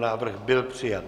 Návrh byl přijat.